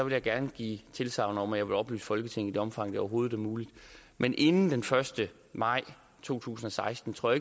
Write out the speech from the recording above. jeg gerne give tilsagn om at jeg vil oplyse folketinget omfang det overhovedet er muligt men inden den første maj to tusind og seksten tror